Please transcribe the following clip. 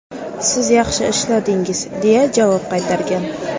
Siz yaxshi ishladingiz”, deya javob qaytargan.